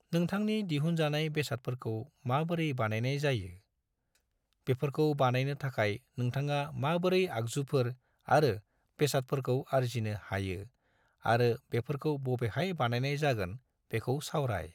नोंथांनि दिहुनजानाय बेसादफोरखौ माबोरै बानायनाय जायो, बेफोरखौ बानायनो थाखाय नोंथाङा माबोरै आगजुफोर आरो बेसादफोरखौ आरजिनो हायो आरो बेफोरखौ बबेहाय बानायनाय जागोन बेखौ सावराय।